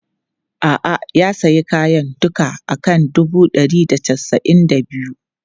A'a, ya sayi kayan duka a kan dubu ɗari da casa'in da biyu.